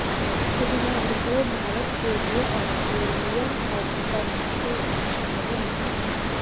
बुधवार को भारत के लिए आस्ट्रेलियन ओपन से अच्छी खबर नहीं आई